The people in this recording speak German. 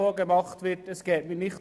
Darum geht es mir nicht.